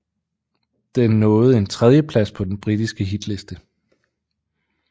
Den nåede en tredieplads på den britiske hitliste